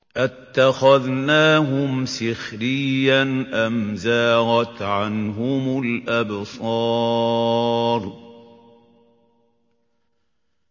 أَتَّخَذْنَاهُمْ سِخْرِيًّا أَمْ زَاغَتْ عَنْهُمُ الْأَبْصَارُ